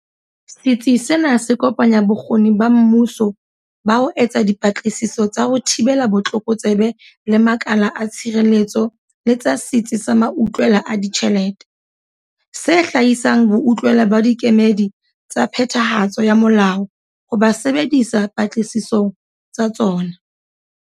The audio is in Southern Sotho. Setsi sena se kopanya bokgoni ba mmuso ba ho etsa dipatlisiso tsa ho thibela botlokotsebe le makala a tshireletso le tsa Setsi sa Mautlwela a Ditjhelete, se hlahisang boutlwela ba dikemedi tsa phethahatso ya molao ho bo sebedisa patlisisong tsa tsona.